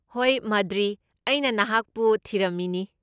ꯍꯣꯏ, ꯃꯗ꯭ꯔꯤ, ꯑꯩꯅ ꯅꯍꯥꯛꯄꯨ ꯊꯤꯔꯝꯃꯤꯅꯤ꯫